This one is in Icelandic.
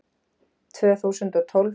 Tvö þúsund og tólf